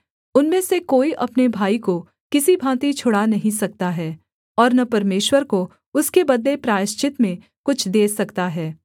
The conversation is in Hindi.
उनमें से कोई अपने भाई को किसी भाँति छुड़ा नहीं सकता है और न परमेश्वर को उसके बदले प्रायश्चित में कुछ दे सकता है